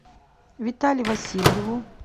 витале васильеву